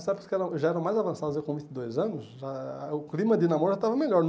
Nessas épocas que eram já eram mais avançadas, eu com vinte e dois anos, a o clima de namoro já estava melhor.